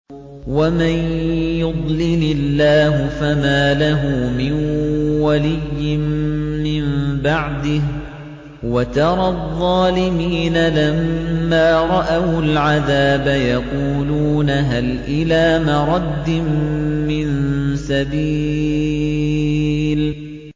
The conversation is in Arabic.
وَمَن يُضْلِلِ اللَّهُ فَمَا لَهُ مِن وَلِيٍّ مِّن بَعْدِهِ ۗ وَتَرَى الظَّالِمِينَ لَمَّا رَأَوُا الْعَذَابَ يَقُولُونَ هَلْ إِلَىٰ مَرَدٍّ مِّن سَبِيلٍ